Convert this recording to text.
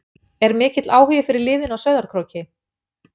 Er mikill áhugi fyrir liðinu á Sauðárkróki?